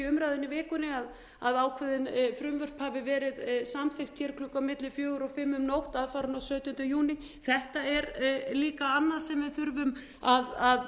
umræðunni í vikunni að ákveðin frumvörp hafi verið samþykkt hér klukkan milli fjögur og fimm um stolt aðfaranótt sautjánda júní þetta er líka annað sem við þurfum að